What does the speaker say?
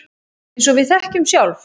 Eins og við þekkjum sjálf.